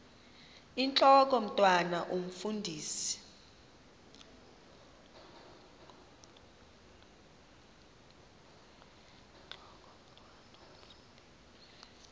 intlok omntwan omfundisi